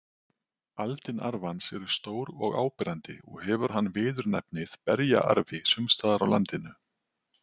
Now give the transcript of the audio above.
Aldin arfans eru stór og áberandi og hefur hann viðurnefnið berjaarfi sums staðar á landinu.